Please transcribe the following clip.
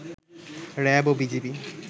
RAB ও BGB